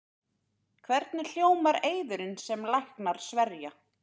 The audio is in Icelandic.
Hvernig hljómar eiðurinn sem læknar sverja?